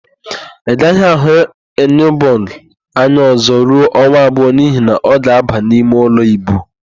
Ị gaghị ahụ Iniobong anya ọ̀zọ́ ruo ọnwa abụọ n'ihi na ọ ga-aba imeụlọ íbù.